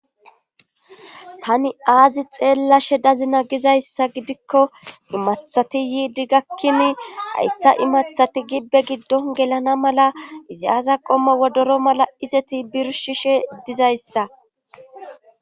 tani aazi xeellashe dazina gizayssa gidikko immaththati yiidi gakkini hayssa immaththati gibbe giddon gelana mala izi aza qommo wodoro mala izeti birshishe dizayssa